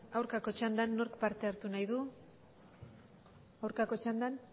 aurkako txanda nork parte hartu nahi du aurkako txandan